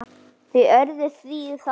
Þau urðu því að fara.